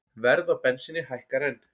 Verð á bensíni hækkar enn